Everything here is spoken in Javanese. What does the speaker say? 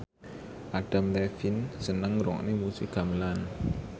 Adam Levine seneng ngrungokne musik gamelan